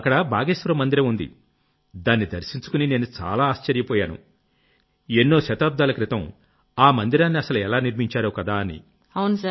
అక్కడ బాగేశ్వర్ మందిరం ఉంది దాన్ని దర్శించుకుని నేను చాలా ఆశ్చర్యపోయాను ఎన్నో శతాబ్దాల క్రితం ఆ మందిరాన్ని అసలు ఎలా నిర్మించారోకదా అని